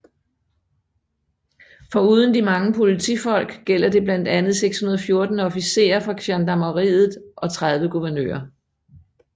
Foruden de mange politifolk gælder det blandt andet 614 officerer fra gendarmeriet og 30 guvernører